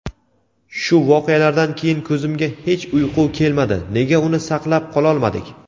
Shu voqealardan keyin ko‘zimga hech uyqu kelmadi – nega uni saqlab qololmadik?!.